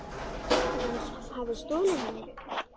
Að hann hafi stolið henni?